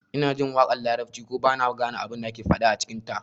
Ina jin waƙar larabci ko ba na gane abin da ake faɗa a cikinta